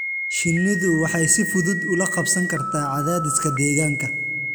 Shinnidu waxay si fudud ula qabsan kartaa cadaadiska deegaanka.